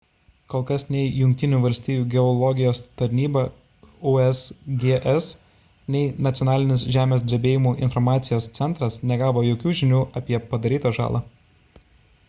kol kas nei jungtinių valstijų geologijos tarnyba usgs nei nacionalinis žemės drebėjimų informacijos centras negavo jokių žinių apie padarytą žalą